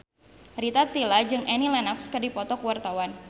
Rita Tila jeung Annie Lenox keur dipoto ku wartawan